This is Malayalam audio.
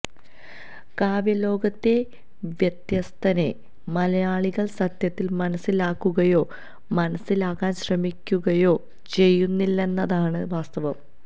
കാവ്യലോകത്തെ വ്യത്യസ്ഥനെ മലയാളികൾ സത്യത്തിൽ മനസ്സിലാക്കുകയോ മനസ്സിലാക്കാൻ ശ്രമിക്കുകയോ ചെയ്യുന്നില്ലെന്നതാണു വാസ്തവം